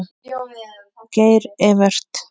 Geir Evert.